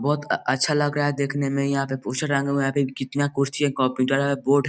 बहुत अ अच्छा लग रहा है देखने में यहाँ पे पोस्टर टांगा हुआ है यहाँ पे कितना कॉस्टली कंप्यूटर है --